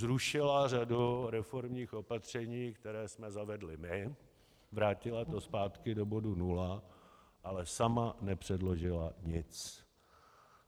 Zrušila řadu reformních opatření, která jsme zavedli my, vrátila to zpátky do bodu nula, ale sama nepředložila nic.